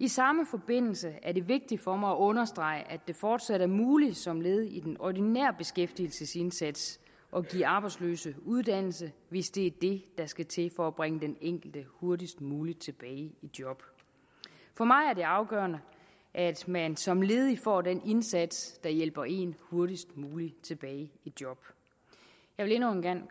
i samme forbindelse er det vigtigt for mig at understrege at det fortsat er muligt som led i den ordinære beskæftigelsesindsats at give arbejdsløse uddannelse hvis det er det der skal til for at bringe den enkelte hurtigst muligt tilbage i job for mig er det afgørende at man som ledig får den indsats der hjælper en hurtigst muligt tilbage i job jeg vil endnu en gang